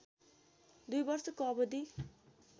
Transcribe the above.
दुई वर्षको अवधि